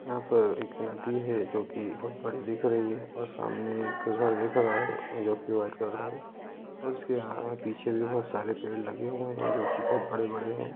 यहा पर एक नदी है जोकि बहुत बड़ी दिख रही है और सामने एक और फुवारा दिख रहा हे जो की व्हाइट कलर का है उसके आगे पीछे बहुत सरे पेड़ लगे हुए है जोकि बोहोत बड़े-बड़े हैं।